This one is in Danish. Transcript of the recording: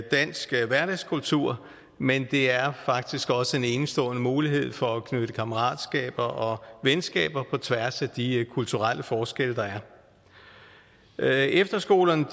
dansk hverdagskultur men det er faktisk også en enestående mulighed for at knytte kammeratskaber og venskaber på tværs af de kulturelle forskelle der er efterskolerne